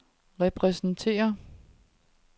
repræsenterer